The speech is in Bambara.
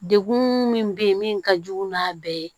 Degun min bɛ yen min ka jugu n'a bɛɛ ye